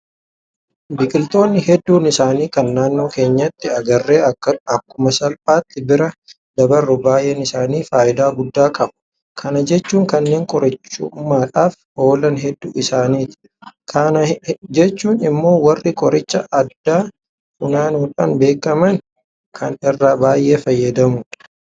Biqiltoonni hedduun isaanii kan naannoo keenyatti agarree akkuma salphaatti bira dabarru baay'een isaanii faayidaa guddaa qabu. Kana jechuun kanneen qorichummaadhaaf oolan hedduu isaaniiti. Kana jechuun immoo warri qoricha aadaa funaanuudhaan beekaman kana irraa baay'ee fayyadamoodha.